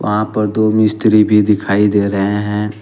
वहां पर दो मिस्त्री भी दिखाई दे रहे हैं।